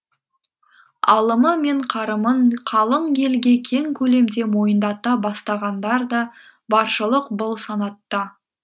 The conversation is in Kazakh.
алымы мен қарымын қалың елге кең көлемде мойындата бастағандар да баршылық бұл санатта